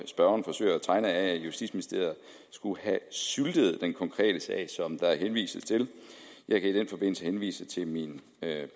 spørgeren forsøger at tegne af at justitsministeriet skulle have syltet den konkrete sag som der henvises til jeg kan i den forbindelse henvise til min